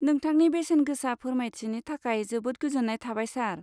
नोंथांनि बेसेनगोसा फोरमायथिनि थाखाय जोबोद गोजोन्नाय थाबाय, सार।